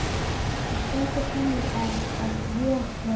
Það stendur þannig á að ég hérna.